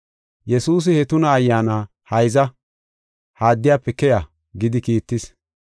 Yesuusi he tuna ayyaana, “Hayza, ha addiyafe keya” gidi kiittis.